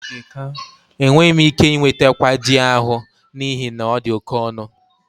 Enweghị m ike ị nweta kwaaji ahụ n'ihi na ọ dị oke ọnụ.